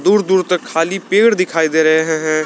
दूर दूर तक खाली पेड़ दिखाई दे रहे हैं।